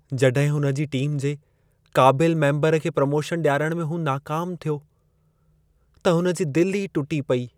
जड॒हिं हुन जी टीम जे क़ाबिलु मेम्बर खे प्रमोशन ॾियारण में हू नाकाम थियो, त हुन जी दिलि ई टुटी पेई।